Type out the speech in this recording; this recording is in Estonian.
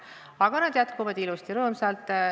Aga nad jätkuvad ilusasti ja rõõmsalt.